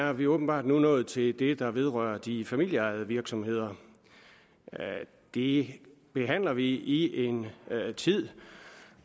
er vi åbenbart nu nået til det der vedrører de familieejede virksomheder det behandler vi i en tid